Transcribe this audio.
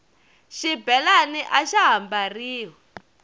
xibelani axa ha mbariwi